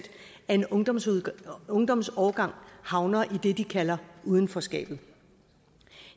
af en ungdomsårgang ungdomsårgang havner i det de kalder udenforskabet